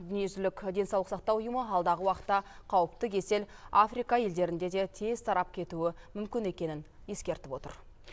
дүниежүзілік денсаулық сақтау ұйымы алдағы уақытта қауіпті кесел африка елдерінде де тез тарап кетуі мүмкін екенін ескертіп отыр